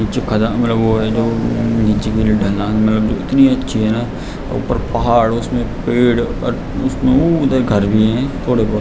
नीचे नीचे की ढलान इतनी अच्छी है न ऊपर पहाड़ उसमें पेड़ घर भी हैं थोड़े बोहोत |